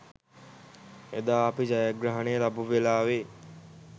එදා අපි ජයග්‍රහණය ලබපු වෙලාවෙ